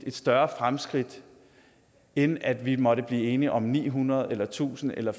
et større fremskridt end at vi måtte blive enige om ni hundrede eller tusind eller